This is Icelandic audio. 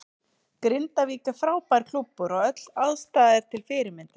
Grindavík er frábær klúbbur og öll aðstaða er til fyrirmyndar.